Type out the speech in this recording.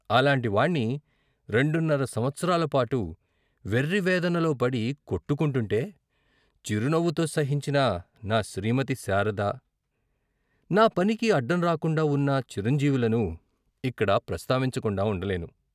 అలాంటి వాణ్ణి రెండున్నర సంవత్సరాల పాటు వెర్రి వేదనలోపడి కొట్టుకుంటుంటే చిరునవ్వుతో సహించిన నా శ్రీమతి శారద, నా పనికి అడ్డంరాకుండా వున్న చిరంజీవులను ఇక్కడ ప్రస్తావించకుండా ఉండలేను.